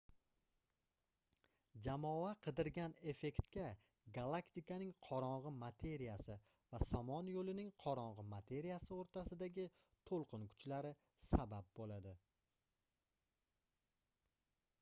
jamoa qidirgan effektga galaktikaning qorongʻi materiyasi va somon yoʻlining qorongʻi materiyasi oʻrtasidagi toʻlqin kuchlari sabab boʻladi